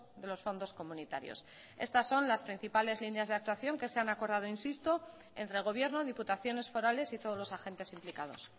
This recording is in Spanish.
de los fondos comunitarios estas son las principales líneas de actuación que se han acordado insisto entre gobierno diputaciones forales y todos los agentes implicados